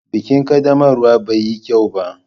Bikin ƙaddamarwa bai yi kyau ba.